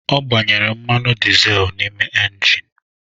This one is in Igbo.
Ọ gbanyere mmanụ dịzel na ingin ya.